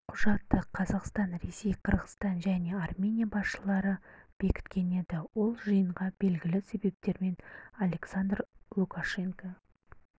құжатты қазақстан ресей қырғызстан және армения басшылары бекіткен еді ол жиынға белгілі себептермен александр лукашенко